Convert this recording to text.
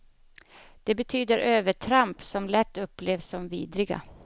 Det betyder övertramp som lätt upplevs som vidriga.